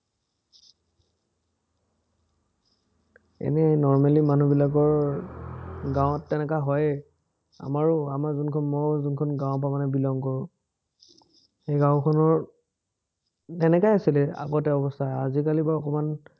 এনেই normally মানুহবিলাকৰ গাঁৱত তেনেকা হয়েই আমাৰো আমাৰ জুনখন মোৰ জুনখন গাঁৱৰপৰা মানে belong কৰোঁ, সেই গাঁওখনৰ তেনেকাই আছিলে আগতে অৱস্থা, আজিকালি বাৰু অকণমান